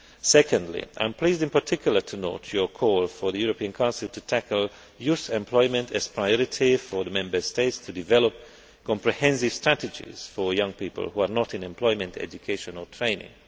Secondly, I am pleased in particular to note your call for the European Council to tackle youth employment as a priority and for the Member States to develop comprehensive strategies for young people who are not in employment, education or training.